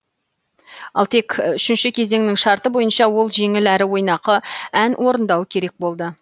ал тек үшінші кезеңнің шарты бойынша ол жеңіл әрі ойнақы ән орындауы керек болды